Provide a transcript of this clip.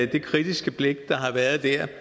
det kritiske blik der har været der